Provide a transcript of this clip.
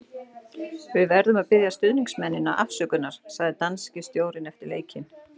Við verðum að biðja stuðningsmennina afsökunar, sagði danski stjórinn eftir leikinn.